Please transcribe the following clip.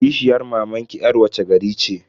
Kishiyar mamanki yar wace gari ce?